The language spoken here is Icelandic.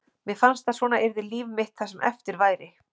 Mér fannst að svona yrði líf mitt það sem eftir væri.